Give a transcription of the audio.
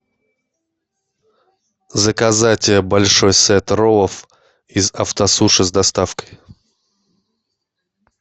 заказать большой сет роллов из автосуши с доставкой